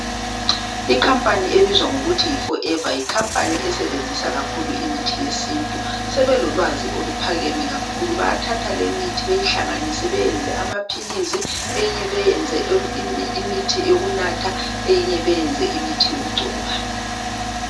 i company ebizwa ngokuthi yi Forever yi companya esebenzisa kakhulu imithi yesintu sebelolwazi oluphakeme kakhulu bayathatha lemithi bayihlanganise bayenze amaphilizi eyinye beyenze imithi yokunatha eyinye beyenze imithi yokugcoba